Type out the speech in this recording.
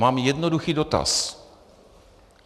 Mám jednoduchý dotaz.